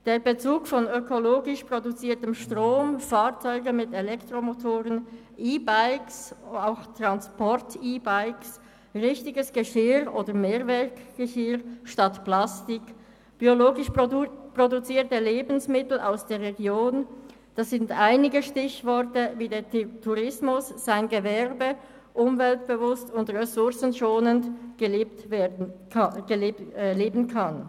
Der Bezug von ökologisch produziertem Strom – Fahrzeuge mit Elektromotoren, EBikes –, richtigem Geschirr oder Mehrweggeschirr anstatt Plastik und biologisch produzierten Lebensmitteln aus der Region sind einige Stichworte, wie der Tourismus sein Gewerbe umweltbewusst und ressourcenschonend betreiben kann.